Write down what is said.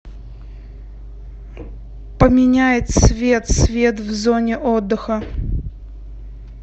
поменяй цвет свет в зоне отдыха